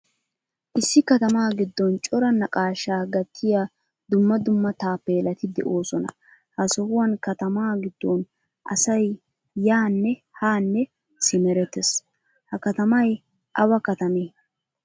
Issi katama giddon cora naaqqashshaa gattiyaa dumma dumma taappelati deosona. Ha sohuwan katama giddon asay yaane ha simerettees. Ha katamay awa katame?